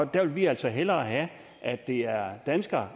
der vil vi altså hellere have at det er danskere